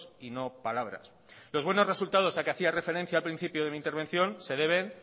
y no palabras los buenos resultados a los que hacía referencia al principio de mi intervención se deben